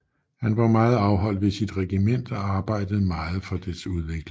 Han var meget afholdt ved sit regiment og arbejdede meget for dets udvikling